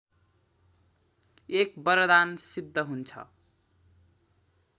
एक वरदान सिद्ध हुन्छ